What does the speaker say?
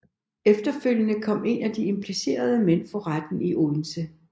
Efterfølgende kom en af de implicerede mænd for retten i Odense